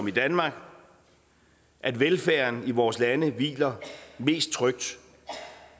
i danmark at velfærden i vores lande hviler mest trygt